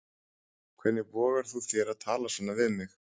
Hvernig vogar þú þér að tala svona við mig.